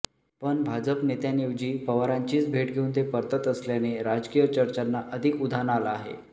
पण भाजप नेत्यांऐवजी पवारांचीच भेट घेऊन ते परतत असल्याने राजकीय चर्चांना अधिक उधाण आलं आहे